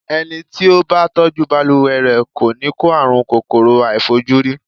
Ẹni tí ó bá tọ́jú balùwẹ̀ rẹ̀, kò ní kó àrùn kòkòrò àìfojúrí.